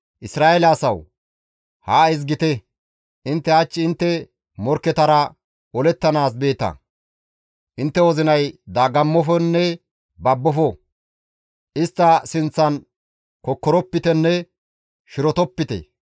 «Isra7eele asawu! Haa ezgite! Intte hach intte morkketara olettanaas beeta; intte wozinay dagammofonne babbofo; istta sinththan kokkoropitenne shirotopite.